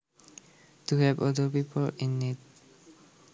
to help other people in need